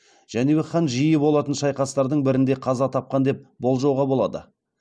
жәнібек хан жиі болатын шайқастардың бірінде қаза тапқан деп болжауға болады